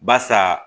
Barisa